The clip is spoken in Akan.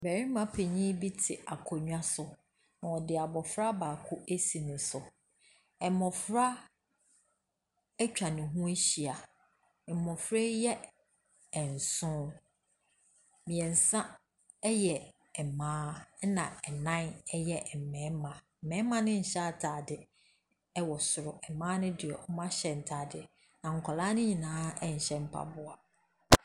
Barima panin bi te akonnwa so na ɔde abofra baako asi ne so. Mmɔfra atwa ne ho ahyia. Mmɔfra yi yɛ nson, mmiɛnsa yɛ mmaa na nnan yɛ mmarima. Mmarima no nhyɛ ataade wɔ soro, na mmaa ne deɛ, wɔahyɛ ntaadeɛ. Na nkwadaa no nyinaa nhyɛ mpaboa.